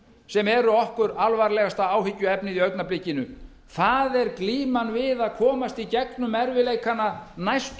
sem eru okkur alvarlegasta áhyggjuefnið í augnablikinu það er glíman við að komast í gegn um erfiðleikana næstu